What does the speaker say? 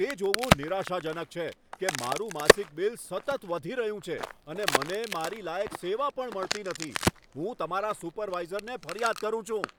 તે જોવું નિરાશાજનક છે કે મારું માસિક બિલ સતત વધી રહ્યું છે અને મને મારી લાયક સેવા પણ મળતી નથી. હું તમારા સુપરવાઈઝરને ફરિયાદ કરું છું.